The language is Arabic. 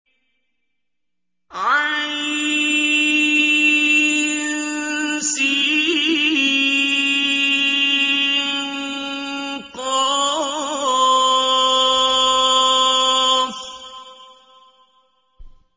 عسق